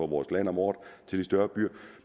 vores landområder til de større byer